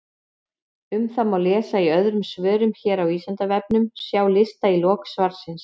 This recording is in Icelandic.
Um það má lesa í öðrum svörum hér á Vísindavefnum, sjá lista í lok svarsins.